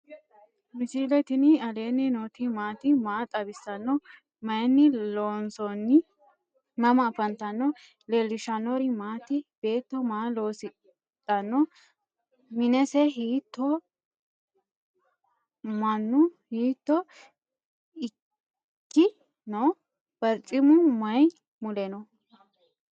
misile tini alenni nooti maati? maa xawissanno? Maayinni loonisoonni? mama affanttanno? leelishanori maati? beeto maa loosidhano? minise hitoho? maannu hito iikkw no?barcimu maayi mule no?